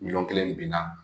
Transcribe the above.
Miliyɔn kelen nin binna